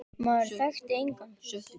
Maður þekkti engan.